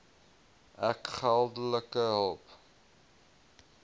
ek geldelike hulp